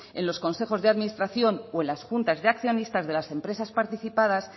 en los consejos de administración o en las juntas de accionistas de las empresas participadas